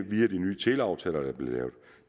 via de nye teleaftaler der er blevet lavet